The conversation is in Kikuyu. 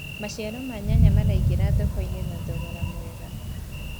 maciaro ma nyanya maraingira thoko-inĩ na thogora mwega